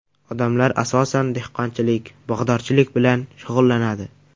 Odamlar asosan, dehqonchilik, bog‘dorchilik bilan shug‘ullanadi.